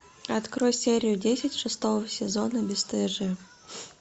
открой серию десять шестого сезона бесстыжие